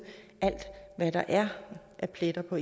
hvad der er af pletter på